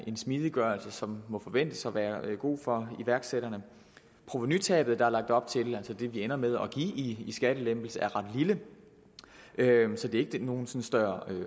smidiggørelse som må forventes at være god for iværksætterne provenutabet der er lagt op til altså det som det ender med at give i skattelempelse er ret lille så det er ikke nogen større